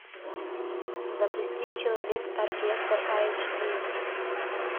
запусти человек оркестр эйч ди